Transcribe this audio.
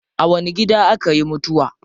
A wani gida akayi mutuwa?